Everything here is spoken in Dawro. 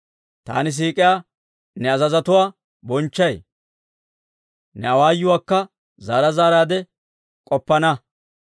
Taani siik'iyaa ne azazotuwaa bonchchay; ne awaayuwaakka zaara zaaraadde k'oppana.